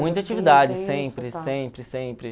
Muita atividade, sempre, sempre, sempre.